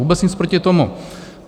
Vůbec nic proti tomu.